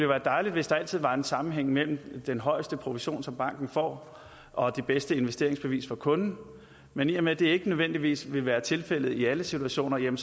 være dejligt hvis der altid var en sammenhæng mellem den højeste provision som banken får og det bedste investeringsbevis for kunden men i og med at det ikke nødvendigvis vil være tilfældet i alle situationer kan